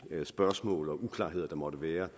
spørgsmål og uklarheder der måtte være